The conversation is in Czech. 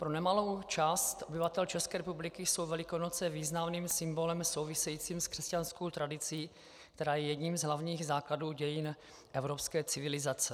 Pro nemalou část obyvatel České republiky jsou Velikonoce významným symbolem souvisejícím s křesťanskou tradicí, která je jedním z hlavních základů dějin evropské civilizace.